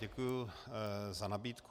Děkuji za nabídku.